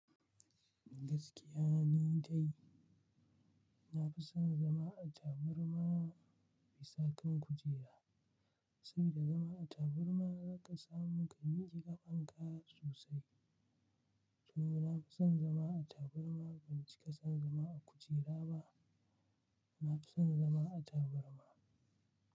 Gaskiya ne dai. Na fi son zama a taburma bisa kan kujera, saboda zama a taburma za ka samu ka miji ƙafanka sosai. To na fi son zama a tabqrma, ban cika san zama a kujera ba. Na fi son zama a taburma.